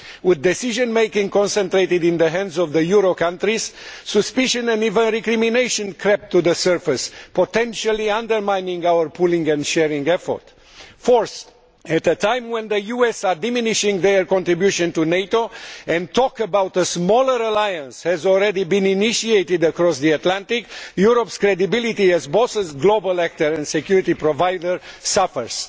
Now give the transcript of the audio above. With decision making concentrated in the hands of the euro countries, suspicion and even recrimination have crept to the surface, potentially undermining our pooling and sharing effort. Fourth, at a time when the US is diminishing its contribution to NATO and talk about a smaller alliance has already been initiated across the Atlantic, Europe's credibility as both global actor and security provider suffers.